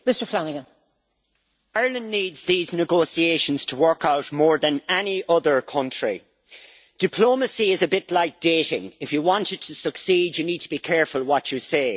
Madam President, Ireland needs these negotiations to work out more than any other country. Diplomacy is a bit like dating. If you want it to succeed, you need to be careful what you say.